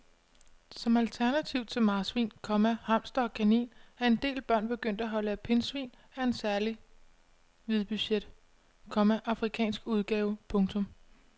Som alternativ til marsvin, komma hamster og kanin er en del børn begyndt at holde pindsvin af en særlig hvidbuget, komma afrikansk udgave. punktum